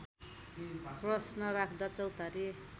प्रश्न राख्दा चौतारी